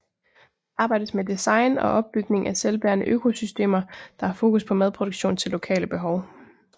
Der arbejdes med design og opbygning af selvbærende økosystemer der har fokus på madproduktion til lokale behov